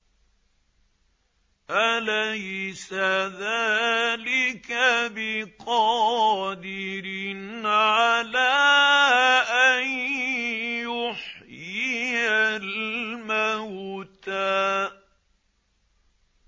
أَلَيْسَ ذَٰلِكَ بِقَادِرٍ عَلَىٰ أَن يُحْيِيَ الْمَوْتَىٰ